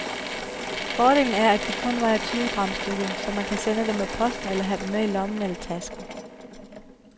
Fordelen er, at de kun vejer tyve gram stykket, så man kan sende dem med posten eller have dem med i lommen eller tasken.